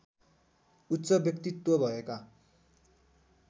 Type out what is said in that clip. उच्च व्यक्तित्व भएका